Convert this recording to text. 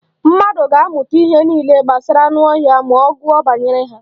Mmadụ ga-amụta ihe niile gbasara anụ ọhịa ma ọ gụọ banyere ha.